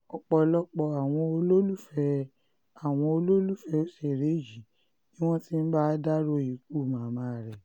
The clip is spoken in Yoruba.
ọ̀pọ̀lọpọ̀ àwọn olólùfẹ́ àwọn olólùfẹ́ òṣèré yìí ni wọ́n ti ń bá a dárò ikú màmá rẹ̀